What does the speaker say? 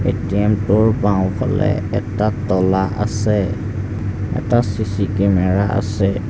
বএ_টি_এম টোৰ বাওঁ ফালে এটা তলা আছে এটা চি_চি কেমেৰা আছে।